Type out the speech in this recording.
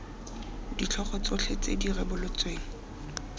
ditlhogo tsotlhe tse di rebotsweng